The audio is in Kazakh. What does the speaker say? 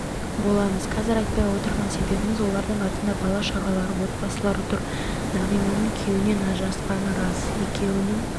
боламыз қазір айтпай отырған себебіміз олардың артында бала-шағалары отбасылары тұр нағиманың күйеуінен ажырасқаны рас екеуінің